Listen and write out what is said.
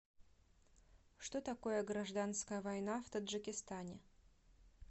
что такое гражданская война в таджикистане